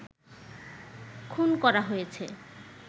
খুন করা হয়েছে